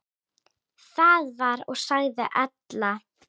Það var og sagði Ella.